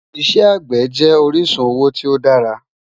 Ìṣẹ̀ agbẹ́ jẹ orisun owo ti o dàrà